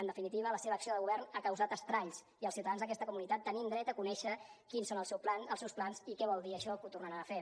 en definitiva la seva acció de govern ha causat estralls i els ciutadans d’aquesta comunitat tenim dret a conèixer quins són els seus plans i què vol dir això que ho tornaran a fer